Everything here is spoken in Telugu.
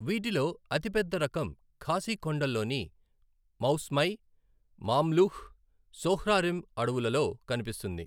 వీటిలో అతిపెద్ద రకం ఖాసీ కొండల్లోని మౌస్మై, మామ్లుహ్, సోహ్రారిమ్ అడవులలో కనిపిస్తుంది.